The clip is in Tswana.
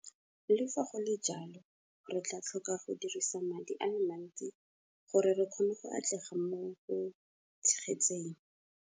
Le fa go le jalo, re tla tlhoka go dirisa madi a le mantsi gore re kgone go atlega mo go tshegetseng.